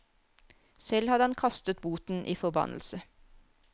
Selv hadde han kastet boten i forbannelse.